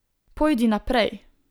Pojdi naprej.